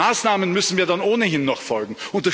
Mit den Maßnahmen müssen wir dann ohnehin noch folgen.